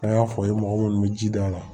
An y'a fɔ ye mɔgɔ munnu be ji d'a ma